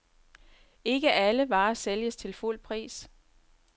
Ikke alle varer sælges til fuld pris.